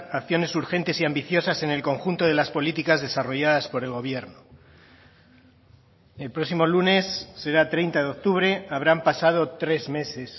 acciones urgentes y ambiciosas en el conjunto de las políticas desarrolladas por el gobierno el próximo lunes será treinta de octubre habrán pasado tres meses